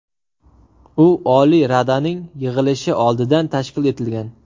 U Oliy Radaning yig‘ilishi oldidan tashkil etilgan.